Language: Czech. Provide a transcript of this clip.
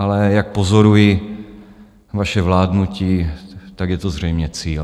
Ale jak pozoruji vaše vládnutí, tak je to zřejmě cíl.